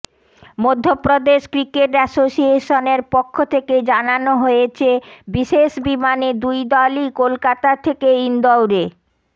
Madhya Pradesh cricket অ্যাসোসিয়েশনের পক্ষ থেকে জানানো হয়েছে বিশেষ বিমানে দুই দলই কলকাতা থেকে ইনদওরে